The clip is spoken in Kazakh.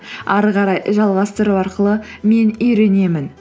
әрі қарай жалғастыру арқылы мен үйренемін